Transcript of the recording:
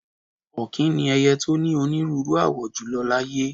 Ọ̀kín ni ẹyẹ tí ó ní onírúnrú àwọ jùlọ láyé.